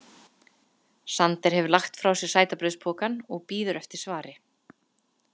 Sander hefur lagt frá sér sætabrauðspokann og bíður eftir svari.